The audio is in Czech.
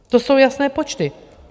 To jsou jasné počty.